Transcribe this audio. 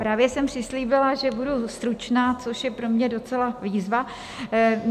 Právě jsem přislíbila, že budu stručná, což je pro mě docela výzva.